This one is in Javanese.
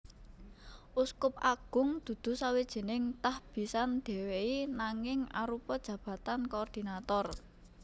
Uskup agung dudu sawijining tahbisan dhéwéi nanging arupa jabatan koordinator